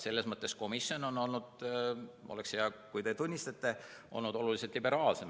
Selles mõttes komisjon on olnud – oleks hea, kui te seda tunnistaksite – oluliselt liberaalsem.